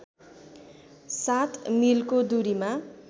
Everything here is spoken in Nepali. ००७ मिलको दूरीमा